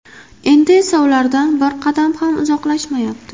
Endi esa ulardan bir qadam ham uzoqlashmayapti .